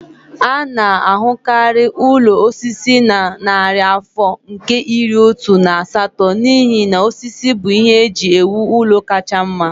A na-ahụkarị ụlọ osisi na narị afọ nke iri otu na asatọ n'ihi na osisi bụ ihe eji ewu ụlọ kacha mma